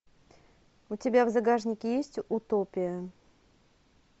у тебя в загашнике есть утопия